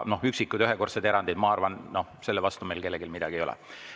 Üksikud, ühekordsed erandid – ma arvan, et nende vastu meil kellelgi midagi ei ole.